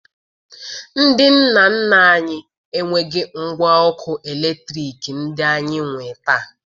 Ndị nna nna anyị enweghi ngwa ọkụ eletriki ndị anyị nwee taa